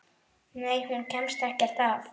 Nei, hún kemst ekkert að.